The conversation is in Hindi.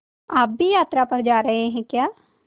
आप भी यात्रा पर जा रहे हैं क्या